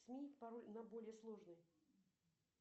сменить пароль на более сложный